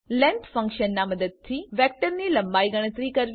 length ફંક્શનનાં મદદથી વેક્ટરની લંબાઈ ગણતરી કરવી